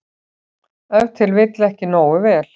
Ef til vill ekki nógu vel.